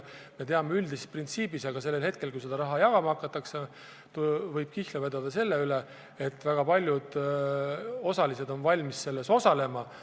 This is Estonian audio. Me teame üldist printsiipi ja sellel hetkel, kui seda raha jagama hakatakse, võib kihla vedada, et väga paljud osalised on valmis selles osalema.